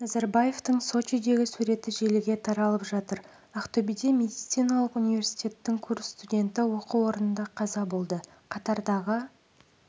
назарбаевтың сочидегі суреті желіге таралып жатыр ақтөбеде медициналық университеттің курс студенті оқу орнында қаза болды қатардағы